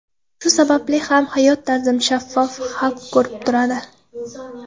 Shu sababli ham hayot tarzim shaffof, xalq ko‘rib turadi.